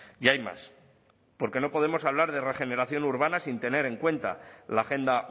y hay más porque no podemos hablar de regeneración urbana sin tener en cuenta la agenda